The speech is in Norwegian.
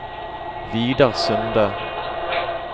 Vidar Sunde